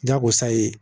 Jago sa ye